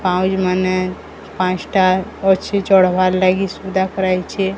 ପାଉଁଜ୍ ମାନେ ପାଁସଟା ଅଛି ଚଢବାର୍ ଲାଗି ସୁବିଧା କରାହେଇଛି।